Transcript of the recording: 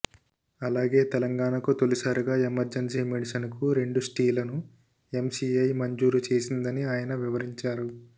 అలాగే తెలంగాణకు తొలిసారిగా ఎమర్జెన్సీ మెడిసన్కు రెండు స్టీలను ఎంసిఐ మంజూరు చేసిందని ఆయన వివరించారు